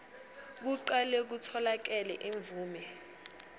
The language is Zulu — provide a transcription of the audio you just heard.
kuqale kutholakale imvume